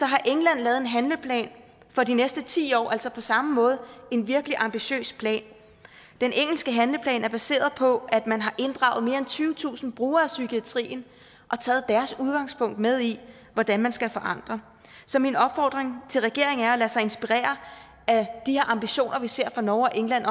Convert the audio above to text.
har england lavet en handleplan for de næste ti år altså på samme måde en virkelig ambitiøs plan den engelske handleplan er baseret på at man har inddraget mere end tyvetusind brugere af psykiatrien og taget deres udgangspunkt med i hvordan man skal forandre så min opfordring til regeringen er at lade sig inspirere af de her ambitioner vi ser fra norge og england